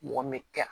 Mɔgɔ min tɛ